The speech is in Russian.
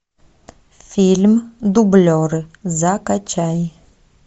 фильм дублеры закачай